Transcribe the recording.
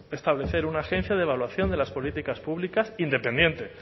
establecer una agencia de evaluación de las políticas públicas independiente